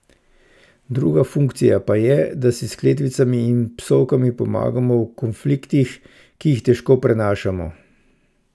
Druga funkcija pa je, da si s kletvicami in psovkami pomagamo v konfliktih, ki jih težko prenašamo.